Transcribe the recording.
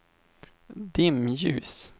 dimljus